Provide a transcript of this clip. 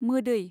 मोदै